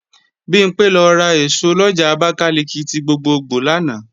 Bimpé lọ ra èso lọjà Abakalika ti gbogbogbò lánàá